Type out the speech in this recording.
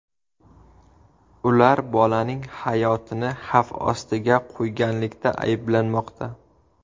Ular bolaning hayotini xavf ostiga qo‘yganlikda ayblanmoqda.